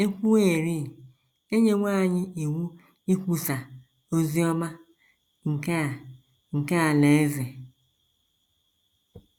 E kwuwerị, e nyewo anyị iwu ikwusa “ ozi ọma nke a nke alaeze. ”